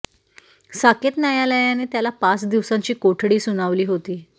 साकेत न्यायालयाने त्याला पाच दिवसांची कोठडी सुनावली होती